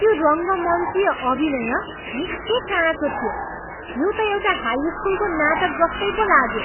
त्यो रङ्गमञ्चिय अभिनय निकै काँचो थियो। यो त एउटा हाई स्कुलको नाटक जस्तै पो लाग्यो।